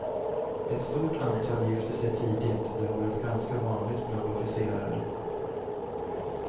Ett stort antal gifte sig tidigt; det har varit ganska vanligt bland officerare.